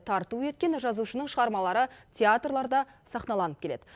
тарту еткен жазушының шығармалары театрларда сахналанып келеді